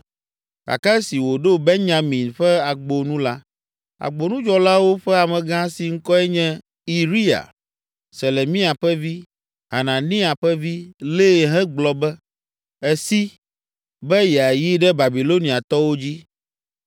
Gake esi wòɖo Benyamin ƒe Agbo nu la, agbonudzɔlawo ƒe amegã si ŋkɔe nye; Iriya, Selemia ƒe vi, Hananiya ƒe vi, lée hegblɔ be, “Èsi, be yeayi ɖe Babiloniatɔwo dzi!”